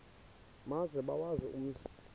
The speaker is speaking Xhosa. maze bawazi umzi